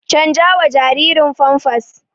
canjawa jaririn famfas